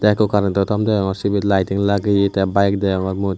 eko currento thomp degongor sibe lithing lagiye teh bike deoongor mui.